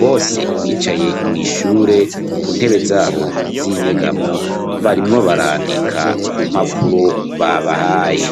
bose bicaye mw'ishure, ku ntebe zabo z'inyegamo, barimwo barandika ku mpapuro, babahaye.